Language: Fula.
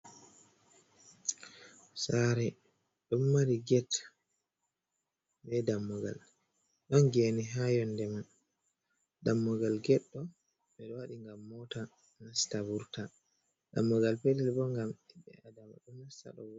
Sare ɗon mari get be dammugal ɗon gene ha yonde man, dammugal get ɗo ɓe waɗi ngam mota nasta vurta, dammugal petel bo gam himɓe adama ɗo nasta ɗo.